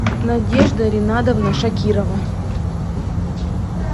надежда ринадовна шакирова